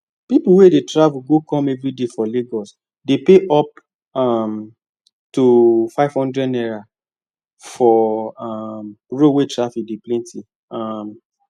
people wey dey travel go come everyday for lagos dey pay up um to 500naira for um road wey traffic dey plenty um